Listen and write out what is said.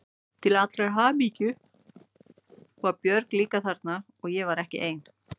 Til allrar hamingju var Björg líka þarna svo ég var ekki ein.